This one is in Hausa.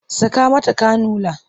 Saka mata kanula!